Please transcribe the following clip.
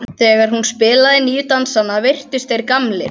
Þegar hún spilaði nýju dansana virtust þeir gamlir.